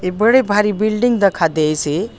ए बड़े भारी बिल्डिंग दखा देइसे।